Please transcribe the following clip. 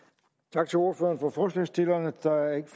tak til ordføreren for forslagsstillerne der ikke